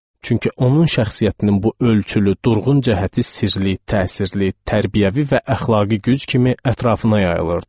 Çünki onun şəxsiyyətinin bu ölçülü, durğun cəhəti sirli, təsirli, tərbiyəvi və əxlaqi güc kimi ətrafına yayılırdı.